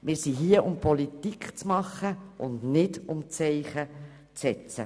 Wir sind hier um Politik zu machen und nicht, um Zeichen zu setzen.